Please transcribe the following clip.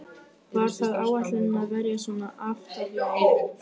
Var það áætlunin að verjast svona aftarlega í leiknum?